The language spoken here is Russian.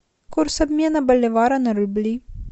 курс обмена боливара на рубли